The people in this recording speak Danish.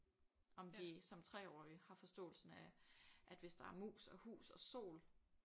Om de som 3-årige har forståelsen af at hvis der er mus og hus og sol